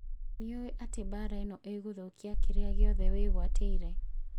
Nĩũĩ atĩ mbara ĩno ĩgũthũkia kĩrĩa gĩothe wĩgwatĩire